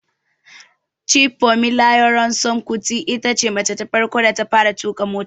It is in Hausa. Chief Fumilayo Ransome Kuti itace mace ta farko da ta fara tuƙa mota